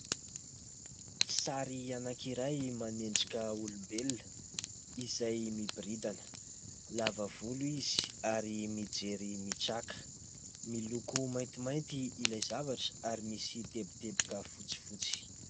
Sary anankiray manendrika olombelona izay miboridana. Lava volo izy ary mijery mitraka. Miloko maintimainty ilay zavatra ary misy teboteboka fotsifotsy.